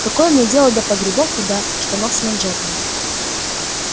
какое мне дело до погребов и до штанов с манжетами